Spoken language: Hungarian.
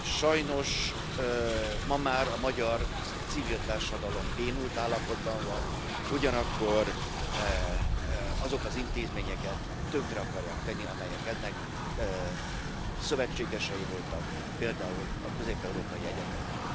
Sajnos ma már a magyar civil társadalom bénult állapotban van, ugyanakkor azokat az intézményeket tönkre akarják tenni, amelyek ennek szövetségesei voltak, például a Közép Európai Egyetemet.